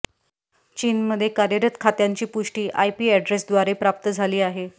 चीनमध्ये कार्यरत खात्यांची पुष्टी आयपी ऍड्रेसद्वारे प्राप्त झाली आहे